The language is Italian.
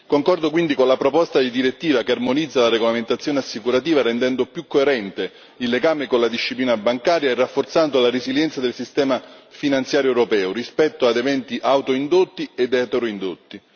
Concordo quindi con la proposta di direttiva che armonizza la regolamentazione assicurativa, rendendo più coerente il legame con la disciplina bancaria e rafforzando la resilienza del sistema finanziario europeo, rispetto ad eventi autoindotti ed eteroindotti.